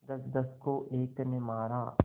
दसदस को एक ने मारा